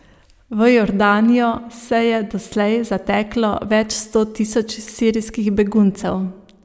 V Jordanijo se je doslej zateklo več sto tisoč sirskih beguncev.